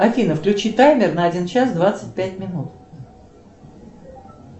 афина включи таймер на один час двадцать пять минут